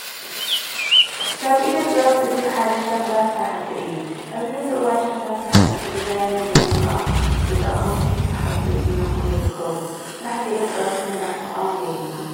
ካብ ኢደ ጥበብ እቲ ሓደ ሸኽላ ስራሕቲ እዩ። ኣብዚ ሕዚ እዋን ሸኽላ ስራሕቲ ብድዛይንን ብመልክዖም ንተጠቀምቲ ስሓብቲ እናኾኑ ይርከቡ። ሰራሕቲ ኢደ ጥበባት ክነርሕቆም የብልናን።